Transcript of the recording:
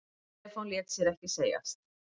Stefán lét sér ekki segjast.